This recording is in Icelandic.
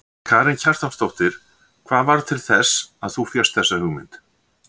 Karen Kjartansdóttir: Hvað varð til þess að þú fékkst þessa hugmynd?